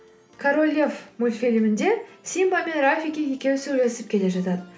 король лев мультфилімінде симба мен рафики екеуі сөйлесіп келе жатады